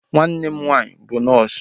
Nwanne m nwaanyị bụ nọọsu